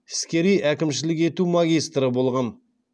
іскери әкімшілік ету магистрі болған